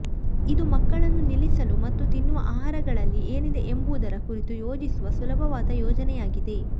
ಇದು ಮಕ್ಕಳನ್ನು ನಿಲ್ಲಿಸಲು ಮತ್ತು ತಿನ್ನುವ ಆಹಾರಗಳಲ್ಲಿ ಏನಿದೆ ಎಂಬುದರ ಕುರಿತು ಯೋಚಿಸುವ ಸುಲಭವಾದ ಯೋಜನೆಯಾಗಿದೆ